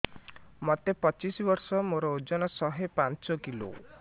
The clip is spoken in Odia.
ମୋତେ ପଚିଶି ବର୍ଷ ମୋର ଓଜନ ଶହେ ପାଞ୍ଚ କିଲୋ